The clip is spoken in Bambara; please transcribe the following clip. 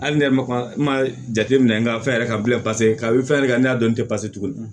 Hali ne yɛrɛ ma jateminɛ n ka fɛn yɛrɛ ka bilen pase k'a bɛ fɛn yɛrɛ kɛ n'a dɔn n tɛ tuguni